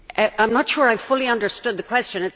I am not sure I fully understood the question.